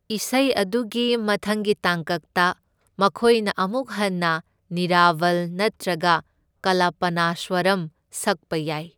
ꯏꯁꯩ ꯑꯗꯨꯒꯤ ꯃꯊꯪꯒꯤ ꯇꯥꯡꯀꯛꯇ, ꯃꯈꯣꯏꯅ ꯑꯃꯨꯛ ꯍꯟꯅ ꯅꯤꯔꯥꯚꯜ ꯅꯠꯇ꯭ꯔꯒ ꯀꯂꯄꯅꯥꯁ꯭ꯋꯥꯔꯝ ꯁꯛꯄ ꯌꯥꯏ꯫